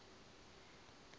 a hiv na eidzi u